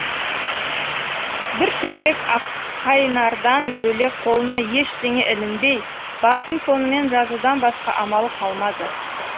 бір шөлмек аққайнардан бөлек қолына ештеңе ілінбей басын сонымен жазудан басқа амалы қалмады